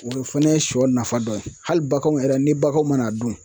O fana ye siyɔ nafa dɔ ye hali baganw yɛrɛ ni baganw mana dun.